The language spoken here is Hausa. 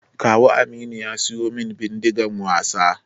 Kawu Aminu ya siyu min Bindigan wasa